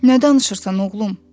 Nə danışırsan, oğlum?